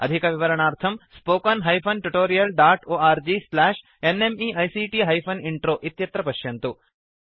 अधिकविवरणार्थं spoken hyphen tutorial dot org slash NMEICT hyphen intro इत्यत्र पश्यन्तु